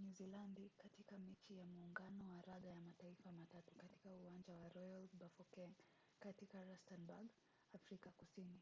nyuzilandi katika mechi ya muungano wa raga ya mataifa matatu katika uwanja wa royal bafokeng katika rustenburg afrika kusini